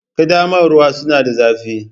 Ƙaddamarwa suna da zafi